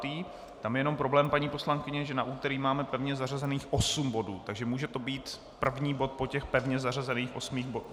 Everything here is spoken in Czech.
Tam je jenom problém, paní poslankyně, že na úterý máme pevně zařazených osm bodů, takže to může být první bod po těch pevně zařazených osmi bodech?